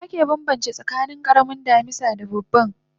Dakyar ake banbance tsakanin karamin damisa da babban